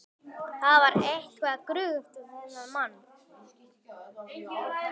Það var eitthvað gruggugt við þennan mann.